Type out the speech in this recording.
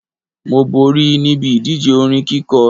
Mo borí níbi ìdíje orin kíkọ